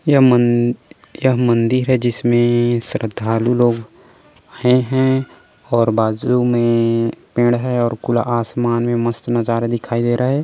यह मन यह मंदिर है जिसमे श्रद्धालु लोग आए है और बाजू मे पेड़ है और आसमान मे मस्त नज़ारे दिखाई दे रहे है।